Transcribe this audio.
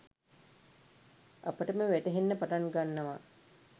අපටම වැටහෙන්න පටන් ගන්නවා.